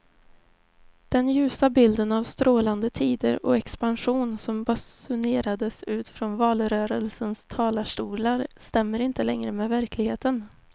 Den ljusa bilden av strålande tider och expansion som basunerades ut från valrörelsens talarstolar stämmer inte längre med verkligheten.